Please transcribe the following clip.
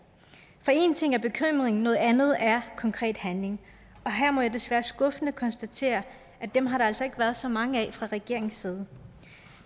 for én ting er bekymringen noget andet er konkrete handlinger og her må jeg så desværre skuffende konstatere at dem har der altså ikke været så mange af fra regeringens side